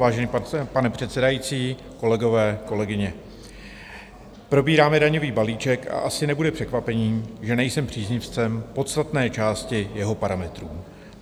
Vážený pane předsedající, kolegové, kolegyně, probíráme daňový balíček a asi nebude překvapením, že nejsem příznivcem podstatné části jeho parametrů.